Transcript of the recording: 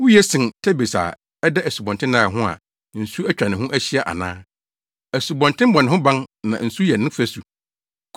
Wuye sen Tebes a ɛda Asubɔnten Nil ho a nsu atwa ne ho ahyia ana? Asubɔnten bɔ ne ho ban na nsu yɛ ne fasu.